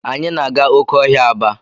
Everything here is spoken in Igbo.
Anyi na aga oke ahia Aba.